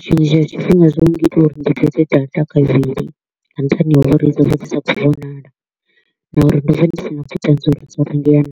Tshiṅwe tshifhinga zwo nngita uri ndi data kavhili nga nṱhani ha uri dzo vha dzi sa athu u vhonala na uri ndo vha ndi si na vhuṱanzi uri dzo rengea naa.